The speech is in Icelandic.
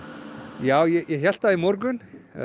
já ég hélt það í morgun